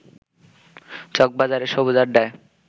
চকবাজারের সবুজ আড্ডায়